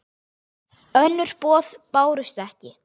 Önnur boð bárust ekki.